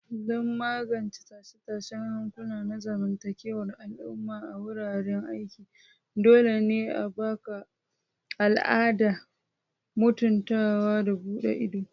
Don magance tashe-tashen hankula na zamantakewar al'umma a wuraren aiki, dole ne a haɓaka al'adar mutuntawa da buɗe ido.